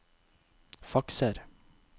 fakser